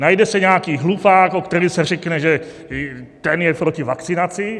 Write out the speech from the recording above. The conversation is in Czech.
Najde se nějaký hlupák, o kterém se řekne, že ten je proti vakcinaci.